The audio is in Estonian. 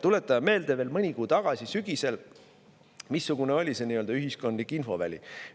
Tuletame meelde, missugune veel mõni kuu tagasi, sügisel, oli see ühiskondlik infoväli.